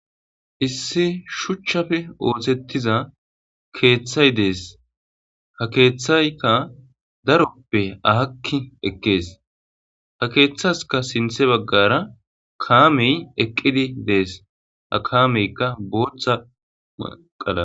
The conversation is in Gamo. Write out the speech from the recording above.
hissi shuchchafe oosettiza keeththay dees ha keeththayka daroppe ahakki ekkees ha keeththaska sinthe baggara kaamey eqqidi dees a kaameykka booththa maqala